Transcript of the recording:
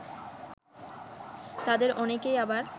তাদের অনেকেই আবার